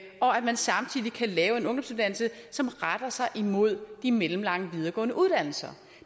man samtidig kan lave en ungdomsuddannelse som retter sig mod de mellemlange videregående uddannelser